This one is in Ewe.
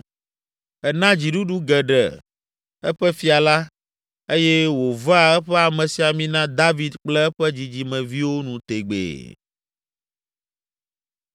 “Ena dziɖuɖu geɖe eƒe fia la, eye wòvea eƒe amesiamina David kple eƒe dzidzimeviwo nu tegbee.”